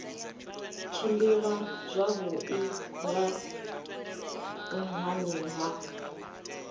tshimbila zwavhui nga nhani ha